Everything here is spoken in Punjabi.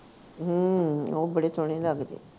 ਹਮ ਉਹ ਬੜੇ ਸੋਹਣੇ ਲਗਦੇ